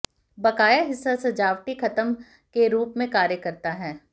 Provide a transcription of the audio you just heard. बकाया हिस्सा सजावटी खत्म के रूप में कार्य करता है